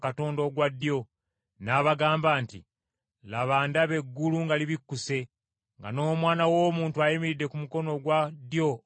N’abagamba nti, “Laba, ndaba eggulu nga libikkuse, nga n’Omwana w’Omuntu ayimiridde ku mukono ogwa ddyo ogwa Katonda.”